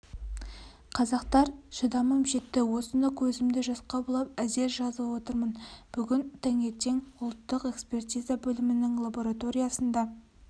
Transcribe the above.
қазақтар шыдамым жетті осыны көзімді жасқа бұлап әзер жазып отырмын бүгін таңертең ұлттық экспертиза бөлімінің лабораториясында